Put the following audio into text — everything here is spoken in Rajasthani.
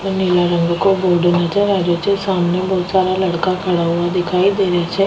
नीला रंग को बोर्ड नजर आ रो छे सामने बहोत सारा लड़का खड़ा हुआ दिखाई दे रा छ।